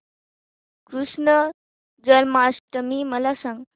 कृष्ण जन्माष्टमी मला सांग